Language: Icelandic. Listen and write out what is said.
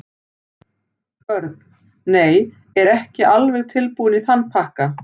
Börn: Nei, er ekki alveg tilbúinn í þann pakka.